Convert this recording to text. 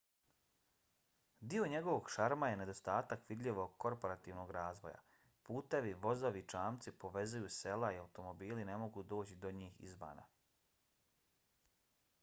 dio njegovog šarma je nedostatak vidljivog korporativnog razvoja. putevi vozovi i čamci povezuju sela i automobili ne mogu doći do njih izvana